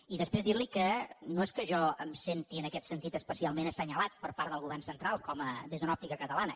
i després dir li que no és que jo em senti en aquest sentit especialment assenyalat per part del govern central des d’una òptica catalana